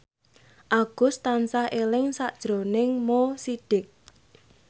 Agus tansah eling sakjroning Mo Sidik